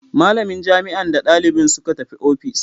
Malamin jami'an da dalibin suka tafi office.